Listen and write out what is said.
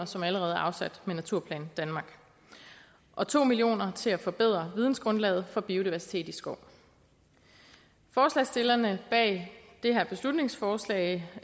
som allerede er afsat med naturplan danmark og to million kroner til at forbedre vidensgrundlaget for biodiversitet i skov forslagsstillerne bag det her beslutningsforslag